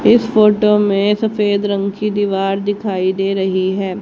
इस फोटो में सफेद रंग की दीवार दिखाई दे रही है।